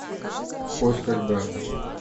в поисках брата